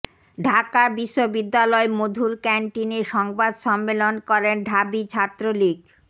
ঢাকা বিশ্ববিদ্যালয় মধুর ক্যান্টিনে সংবাদ সম্মেলন করেন ঢাবি ছাত্রলীগ